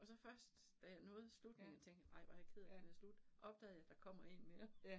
Og så først da jeg nåede slutningen og tænkte, ej hvor jeg ked af den er slut, opdagede jeg, der kommer 1 mere